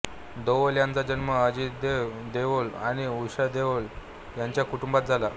देओल यांचा जन्म अजित देव देओल आणि उषा देओल यांच्या कुटुंबात झाला